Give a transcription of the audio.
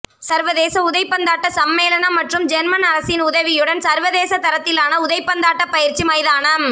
சர்வதேச உதைபந்தாட்ட சம்மேளனம் மற்றும் ஜேர்மன் அரசின் உதவியுடன் சர்வதேச தரத்திலான உதைபந்தாட்ட பயிற்சி மைதானம்